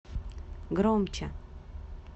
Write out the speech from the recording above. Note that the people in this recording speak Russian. громче